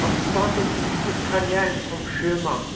Han startet yrkeskarrièren som sjømann,